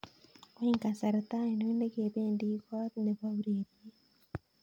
Wany kasarta ainon ne kebendi kot ne bo ureriet